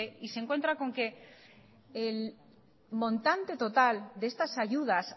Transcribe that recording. y se encuentra con que el montante total de estas ayudas